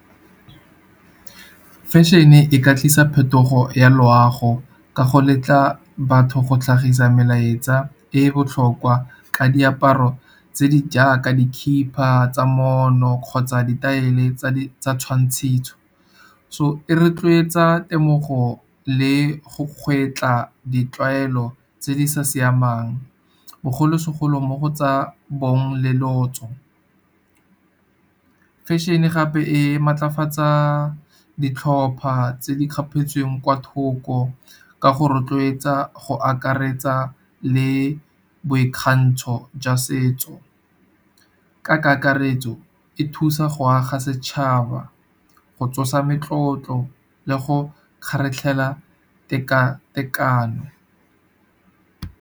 Fashion-e e ka tlisa phetogo ya loago ka go letla batho go tlhagisa melaetsa e e botlhokwa ka diaparo. Tse di jaaka dikhiba tsa moono kgotsa ditaele tsa twantshiso. So, e retloetsa temogo le go ditlwaelo tse di sa siamang, bogolosegolo mo go tsa bong le lotso. Fashion-e gape e maatlafatsa ditlhopha tse di kgapetsweng kwa thoko, ka go rotloetsa go akaretsa le boikgantsho jwa se setso. Ka kakaretso, e thusa go aga setšhaba go tsosa metlotlo le go kgaratlhela teka-tekano.